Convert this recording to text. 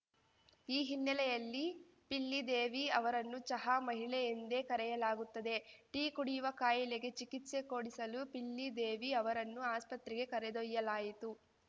ಈ ಹಿನ್ನೆಲೆಯಲ್ಲಿ ಪಿಲ್ಲಿದೇವಿ ಅವರನ್ನು ಚಹಾ ಮಹಿಳೆ ಎಂದೇ ಕರೆಯಲಾಗುತ್ತದೆ ಟೀ ಕುಡಿಯುವ ಕಾಯಿಲೆಗೆ ಚಿಕಿತ್ಸೆ ಕೊಡಿಸಲು ಪಿಲ್ಲಿದೇವಿ ಅವರನ್ನು ಆಸ್ಪತ್ರೆಗೆ ಕರೆದೊಯ್ಯಲಾಯಿತು